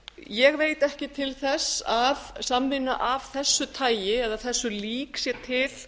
ég veit ekki til þess að samvinna af þessu tagi eða þessu lík sé til